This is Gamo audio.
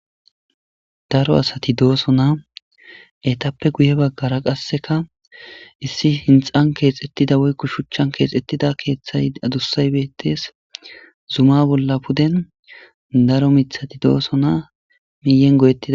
Daro asati dooso naa etappe guye baggara qasseka issi hinxan keexettida woykko shuchchan keexettida keeththay adussay bettees zuma bolla puden daro mithati dooso naa miyen goyettida.